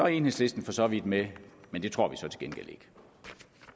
er enhedslisten for så vidt med men det tror